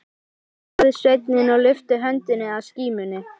Hljóðaði sveinninn og lyfti höndinni að skímunni.